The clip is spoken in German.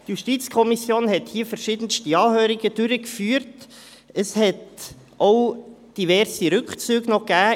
Die JuKo hat hier verschiedenste Anhörungen durchgeführt, und es gab auch verschiedenste Rückzüge.